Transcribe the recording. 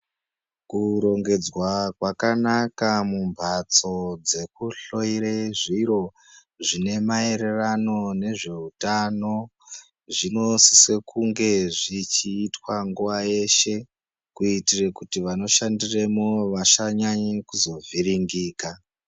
Kurongedzwa kwakanaka mumhatso dzekuhloyera zviro zvine maererano nezveutano zvinosise kunge zvchiitwa nguwa yeshe kuitire kuti vanoshandiremwo vasanyanye kuzovhiringika.